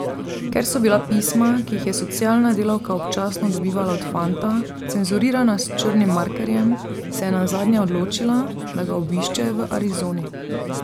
Ker so bila pisma, ki jih je socialna delavka občasno dobivala od fanta, cenzurirana s črnim markerjem, se je nazadnje odločila, da ga obišče v Arizoni.